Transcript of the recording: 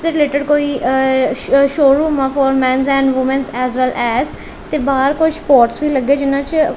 ਇਸ ਦੇ ਰਿਲੇਟਡ ਕੋਈ ਅ ਸ਼ ਸ਼ੋਰੂਮ ਆ for men's and women's as well as ਤੇ ਬਾਹਰ ਕੁਝ ਸਪੋਰਟਸ ਵੀ ਲੱਗੇ ਜਿੰਨਾਂ 'ਚ--